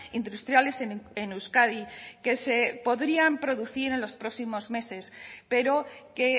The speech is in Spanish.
industriales en euskadi que se podrían producir en los próximos meses pero que